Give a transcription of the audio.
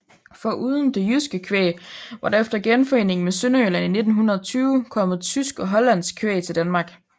Foruden det jyske kvæg var der efter genforeningen med Sønderjylland i 1920 kommet tysk og hollandsk kvæg til Danmark